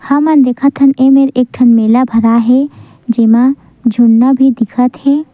हमन देखत हन एमेर एक ठन मेला भराए हे जेमा झुनना भी दिखत हे।